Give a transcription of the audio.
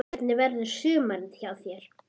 Hvernig verður sumarið hjá þér?